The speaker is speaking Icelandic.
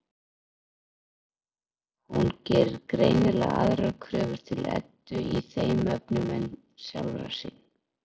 Hún gerir greinilega aðrar kröfur til Eddu í þeim efnum en sjálfrar sín.